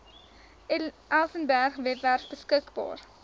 elsenburg webwerf beskikbaar